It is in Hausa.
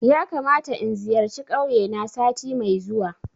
Yakamata in zayarci kauye na sati mai zuwa